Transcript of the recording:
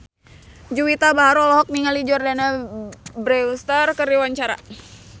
Juwita Bahar olohok ningali Jordana Brewster keur diwawancara